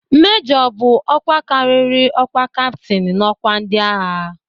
Mejọ bụ ọkwa karịrị ọkwa kaptin n'ọkwa ndịagha.